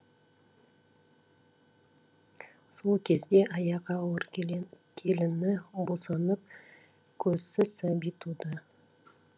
сол кезде аяғы ауыр келіні босанып көзсіз сәби туды